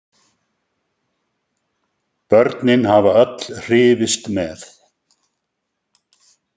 Börnin hafa öll hrifist með.